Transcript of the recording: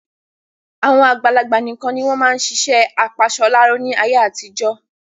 Àwọn àgbàlagbà nikan ni wọn máa ń ṣiṣẹ́ apasọláró ni àyè àtijọ́